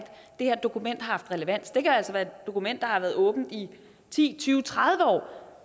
det her dokument har haft relevans det kan altså være et dokument der har været åbent i ti tyve tredive år